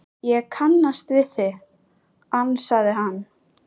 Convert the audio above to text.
Ég kannast við þig, ansaði hann.